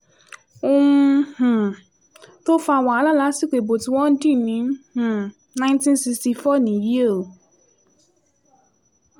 ohun um tó fa wàhálà lásìkò ìbò tí wọ́n dì ní um 1964 nìyí o